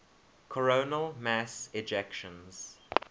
coronal mass ejections